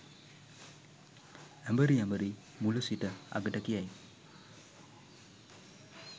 ඇඹරි ඇඹරී මුල සිට අගට කියයි.